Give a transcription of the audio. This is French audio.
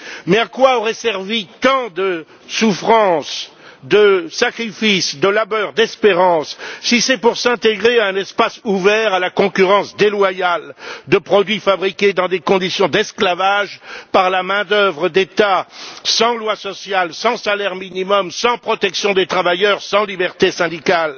Mais à quoi auraient servi tant de souffrances, de sacrifices, de labeur, d'espérance, si c'est pour s'intégrer à un espace ouvert à la concurrence déloyale de produits fabriqués, dans des conditions d'esclavage, par la main d'œuvre d'États sans lois sociales, sans salaire minimum, sans protection des travailleurs et sans liberté syndicale?